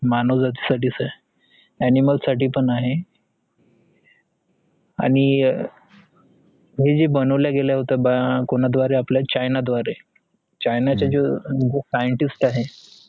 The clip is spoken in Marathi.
मानव जाती साठीच आहेस animal साठी पण आहे आणि हे जे बनवले गेले होते कोणा द्वारे आपला चाइना द्वारे चाइना जो scientist आहे